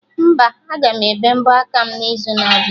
Mba, aga m ebe mbọ aka m n'izu na abịa